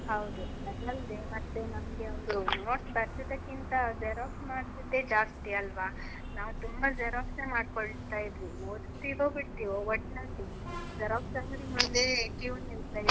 ಹೌದು. ಅದಲ್ದೇ, ಮತ್ತೆ ನಮ್ಗೆ ಒಂದು, notes ಬರ್ದದ್ದಕಿಂತ xerox ಮಾಡ್ಸಿದ್ದೇ ಜಾಸ್ತಿ, ಅಲ್ವಾ? ನಾವ್ ತುಂಬಾ xerox ಮಾಡ್ಕೊಳ್ತಾ ಇದ್ವಿ. ಓದ್ತಿವೋ ಬಿಡ್ತೀವೋ, ಒಟ್ನಲ್ಲಿ xerox ಅಂಗ್ಡಿ ಮುಂದೆ cue ನಿಲ್ತಾ ಇದ್ವಿ.